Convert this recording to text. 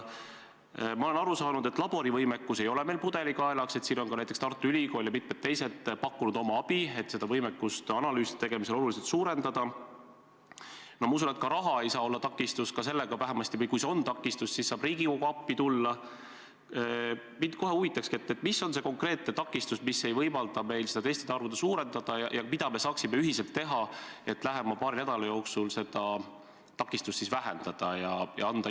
Ma kõigepealt tahan üle korrata mõningad olulised faktid.